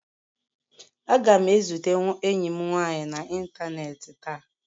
Aga m ezute enyi m nwanyị n'ịntanetị taa